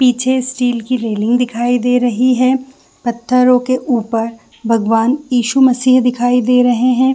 पीछे स्टील की रेलिंग दिखाई दे रही है पत्थरों के ऊपर भगवान यीशु मसीह दिखाई दे रहे हैं।